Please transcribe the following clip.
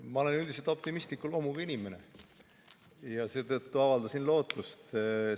Ma olen üldiselt optimistliku loomuga inimene ja seetõttu avaldasin lootust.